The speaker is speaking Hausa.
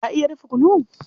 Ka iya dafa kunu?